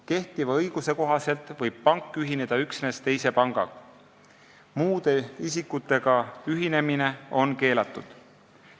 Kehtiva õiguse kohaselt võib pank ühineda üksnes teise pangaga, muude isikutega ühinemine on keelatud.